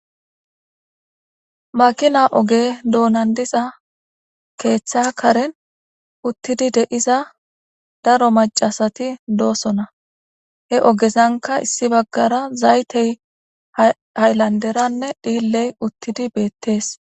Makina oge doonandiza keeththa karen uttidi de'iza daro macasati doosona heogezanka issi baggara zaytey hayllanderanne dhiilley uttidi beettees.